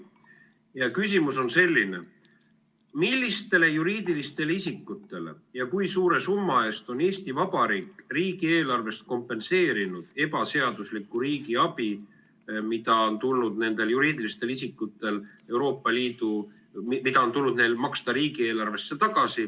Ja küsimus on selline: millistele juriidilistele isikutele ja kui suure summa eest on Eesti Vabariik riigieelarvest kompenseerinud ebaseaduslikku riigiabi, mida on tulnud nendel juriidilistel isikutel riigieelarvesse tagasi maksta?